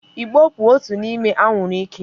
Ị̀gbò bụ otu n'ime anwụrụ ike.